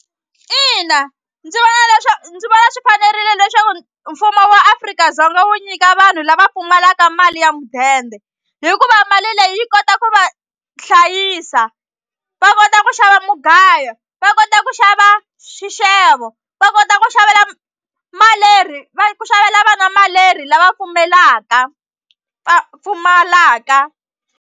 Ina ndzi vona ndzi vona swi fanerile leswaku mfumo wa Afrika-Dzonga wu nyika vanhu lava pfumalaka mali ya mudende hikuva mali leyi yi kota ku va hlayisa va kota ku xava mugayo va kota ku xava xixevo va kota ku xavela malerhi va ku xavela vana malerhi lava pfumelaka va pfumalaka.